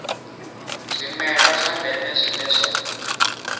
zwimela zwa ndeme zwine zwa